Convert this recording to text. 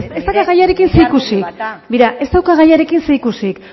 ez dauka gaiarekin zerikusirik begira ez dauka gaiarekin zerikusirik